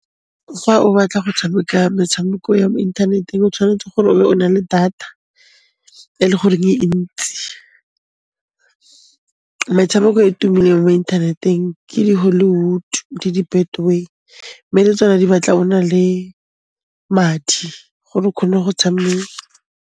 Fa o batla go tshameka metshameko ya mo inthaneteng, o tshwanetse gore o be o na le data e le goreng e ntsi. Metshameko e e tumileng mo inthaneteng ke di Hollywood le di Betway, mme le tsona di batla o na le madi gore o khone go tshameka.